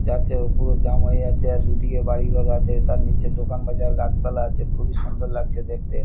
যাচ্ছে ও পুরো জ্যাম হয়ে যাচ্ছে আর দুদিকে বাড়িঘর আছে তার নিচে দোকান বাজার গাছপালা আছে খুবই সুন্দর লাগছে দেখতে।